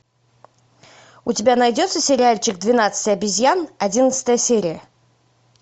у тебя найдется сериальчик двенадцать обезьян одиннадцатая серия